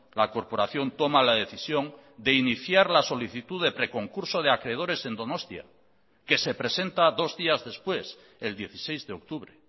la corporación toma la decisión de iniciar la solicitud de preconcurso de acreedores en donostia que se presenta dos días después el dieciséis de octubre